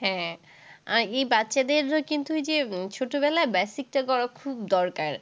হ্যাঁ। আহ এই বাচ্চাদের কিন্তু এই যে ছোটবেলায় basic টা করা খুব দরকার।